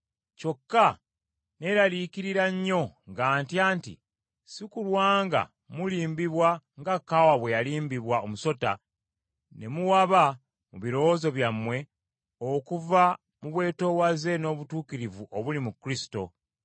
kyokka neeraliikirira nnyo nga ntya nti si kulwa nga mulimbibwa nga Kaawa bwe yalimbibwa omusota ne muwaba mu birowoozo byammwe okuva mu bwetoowaze n’obutukuvu obuli mu Kristo.